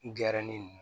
Diyara ne ye